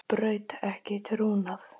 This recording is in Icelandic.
Braut ekki trúnað